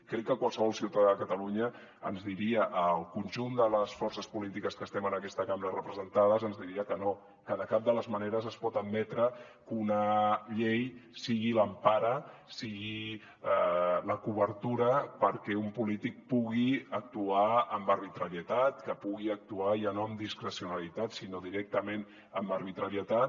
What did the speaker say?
crec que qualsevol ciutadà de catalunya ens diria al conjunt de les forces polítiques que estem en aquesta cambra representades que no que de cap de les maneres es pot admetre que una llei sigui l’empara sigui la cobertura perquè un polític pugui actuar amb arbitrarietat que pugui actuar ja no amb discrecionalitat sinó directament amb arbitrarietat